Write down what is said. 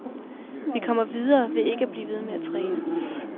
Vi kommer videre ved at blive ved med at træne.